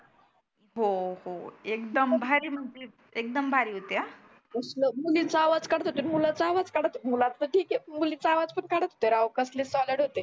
हो हो एकदम भारी, एकदम भारी होतं. कसलं मुलीचा आवाज काढत होते की मुलाचा काढत होते. मुलाचा ठिक आहे मुलीचा आवाज पण काढत होते राव कसले सॉलिड होते.